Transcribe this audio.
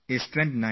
It is a leap year